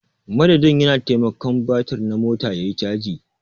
Madadin ya na. taimakon batir na mota yayi caji.